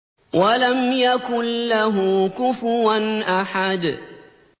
وَلَمْ يَكُن لَّهُ كُفُوًا أَحَدٌ